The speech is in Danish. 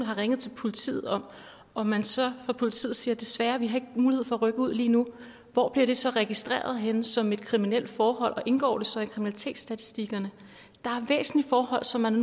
har ringet til politiet om og man så fra politiet siger at desværre har vi ikke mulighed for at rykke ud lige nu hvor bliver det så registreret henne som et kriminelt forhold og indgår det så i kriminalitetsstatistikkerne der er væsentlige forhold som man